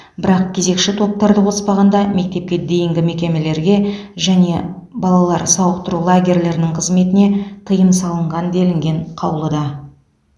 бірақ кезекші топтарды қоспағанда мектепке дейінгі мекемелерге және балалар сауықтыру лагерьлерінің қызметіне тыйым салынған делінген қаулыда